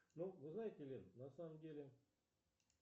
салют а может быть дождь